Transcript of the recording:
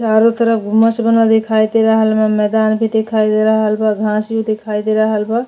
चारो तरफ दिखाइ दे रहल बा मैदान भी दिखाई दे रहल बा घांस भी दिखाई दे रहल बा।